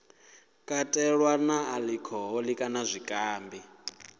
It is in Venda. katelwa na alikhoholi kana zwikambi